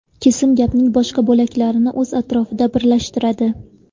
Kesim gapning boshqa bo‘laklarini o‘z atrofida birlashtiradi.